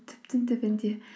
түбтің түбінде